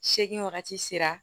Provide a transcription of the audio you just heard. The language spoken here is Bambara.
Seegin wagati sera